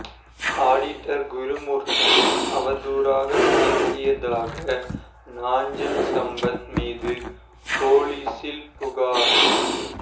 auditor குருமூர்த்தியை அவதூறாக பேசியதாக நாஞ்சில் சம்பத் மீது போலீசில் புகார்